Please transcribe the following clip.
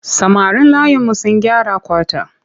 Samarin layinmu sun gyara kwata.